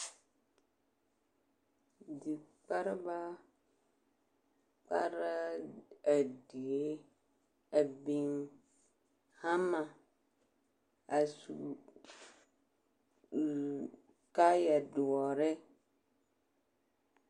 Dikpareba kpaara a die a biŋ hamma a su ee kaayɛ doɔre .